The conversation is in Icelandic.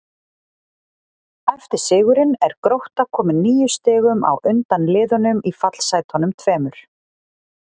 Eftir sigurinn er Grótta komin níu stigum á undan liðunum í fallsætunum tveimur.